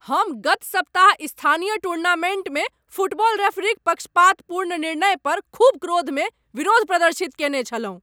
हम गत सप्ताह स्थानीय टूर्नामेन्टमे फुटबॉल रेफरीक पक्षपातपूर्ण निर्णय पर खूब क्रोध मे विरोध प्रदर्शित कयने छलहुँ।